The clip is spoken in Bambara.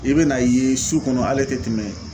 I bɛ n'a ye su kɔnɔ ale tɛ tɛmɛ